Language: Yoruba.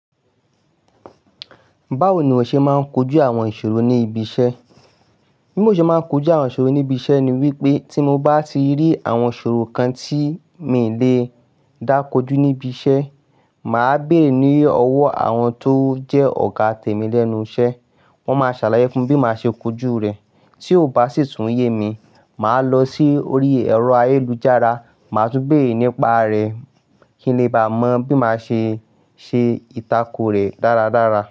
Báwo ni ìwọ ṣe máa ń kojú àwọn ìṣòro níbi iṣẹ́ bí mo ṣe máa ń kojú àwọn ìṣòro ní ibi iṣẹ́ ni wípé tí mo bá ti rí àwọn ìṣòro kan tí mi lè dákójú níbi iṣẹ́, màá béèrè ní ọwọ́ àwọn tó jẹ́ ọ̀gá tèmi lẹ́nu iṣẹ́. Wọ́n máa ṣàlàyé fún mi bí màá ṣe kojú rẹ̀. Tí ó bá sì tún yé mi, màá lọ sí orí ẹ̀rọ ayélujára, màá tún béèrè nípa rẹ̀ kí n lè bá mọ̀ bí màá ṣe ṣe ìtàko rẹ̀ dáradára.